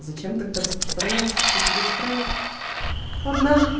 зачем тогда распространяться что у тебя есть проект ладно